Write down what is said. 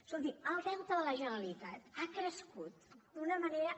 escolti el deute de la generalitat ha crescut d’una manera